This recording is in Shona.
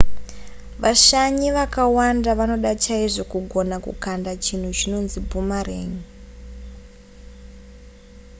vashanyi vakawanda vanoda chaizvo kugona kukanda chinhu chinonzi boomerang